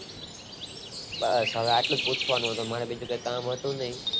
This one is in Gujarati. બસ આટલું પૂછવાનું હતું બીજું કે કામ હતું નય